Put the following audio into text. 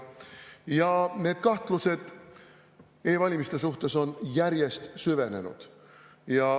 Ja need kahtlused e-valimiste suhtes on järjest süvenenud.